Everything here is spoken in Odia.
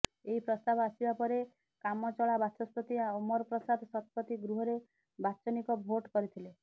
ଏହି ପ୍ରସ୍ତାବ ଆସିବା ପରେ କାମଚଳା ବାଚସ୍ପତି ଅମର ପ୍ରସାଦ ଶତପଥୀ ଗୃହରେ ବାଚନିକ ଭୋଟ କରିଥିଲେ